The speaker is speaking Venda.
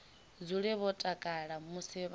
dzule vho takala musi vha